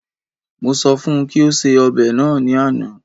Mo sọ fún kí ó ṣe ọbẹ náà ní àna